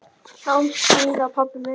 Sjáumst síðar, pabbi minn.